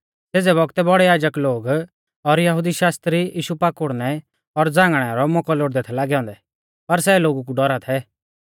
सेज़ै बौगतै बौड़ै याजक लोग और यहुदी शास्त्री यीशु पाकुड़नै और झ़ांगणै रौ मौकौ लोड़दै थै लागै औन्दै पर सै लोगु कु डौरा थै